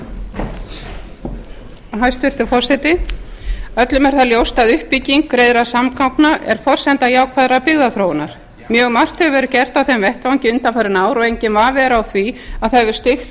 það ljóst að uppbygging greiðra samgangna er forsenda jákvæðrar byggðaþróunar mjög margt hefur verið gert á þeim vettvangi undanfarin ár og enginn vafi er á því að það hefur